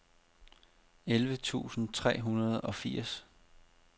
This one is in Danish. elleve tusind tre hundrede og firs